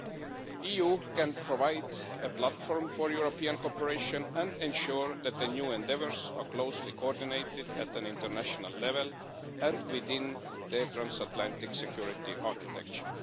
The EU can provide a platform for European cooperation and ensure that the new endeavours are closely coordinated at an international level and within the transatlantic security architecture.